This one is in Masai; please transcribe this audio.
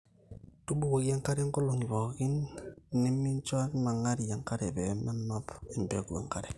tubukoki enkare nkolong'i pooki niminjoenang'ari enkare pee menap empegu enkare